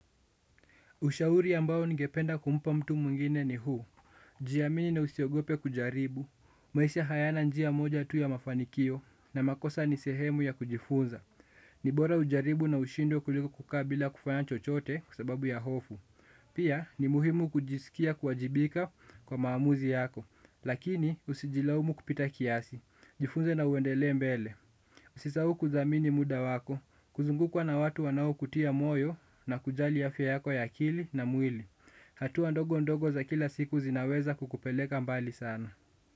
Ushauri ambao ningependa kumpa mtu mwingine ni huu, jiamini na usiogope kujaribu, maisha hayana njia moja tu ya mafanikio, na makosa ni sehemu ya kujifunza, ni bora ujaribu na ushindwe kuliko kukaa bila kufanya chochote kwa sababu ya hofu, pia ni muhimu kujisikia kuwajibika kwa maamuzi yako, lakini usijilaumu kupita kiasi, jifunze na uendelee mbele. Usisahau kuthamini muda wako, kuzungukwa na watu wanaokutia moyo na kujali afya yako ya akili na mwili. Hatua ndogo ndogo za kila siku zinaweza kukupeleka mbali sana.